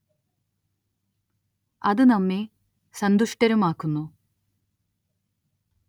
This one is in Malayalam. അത് നമ്മെ സന്തുഷ്ടരുമാക്കുന്നു.